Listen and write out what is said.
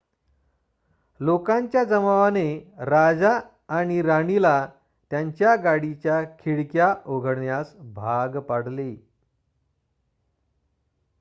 लोकांच्या जमावाने राजा आणि राणीला त्यांच्या गाडीच्या खिडक्या उघडण्यास भाग पाडले